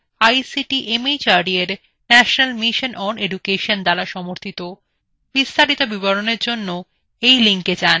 যা ভারত সরকারের ICT mhrd এর জাতীয় শিক্ষা mission দ্বারা সমর্থিত